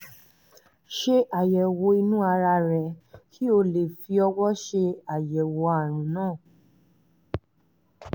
ṣe àyẹ̀wò inú ara rẹ kí o lè fi ọwọ ṣe àyẹ̀wò àrùn náà